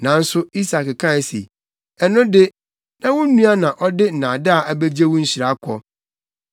Nanso Isak kae se, “Ɛno de, na wo nua na ɔde nnaadaa abegye wo nhyira kɔ!”